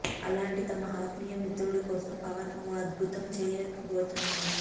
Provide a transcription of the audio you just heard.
అలాంటి తన ఆత్మీయ మిత్రుడు కోసం పవన్ ఓ అద్భుతం చేయబోతున్నాడా